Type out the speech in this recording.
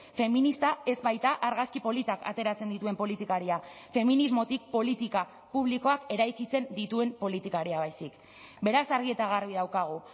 feminista ez baita argazki politak ateratzen dituen politikaria feminismotik politika publikoak eraikitzen dituen politikaria baizik beraz argi eta garbi daukagu